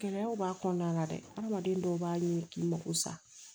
Gɛlɛyaw b'a kɔnɔna la dɛ hadamaden dɔw b'a ɲini k'i mago sa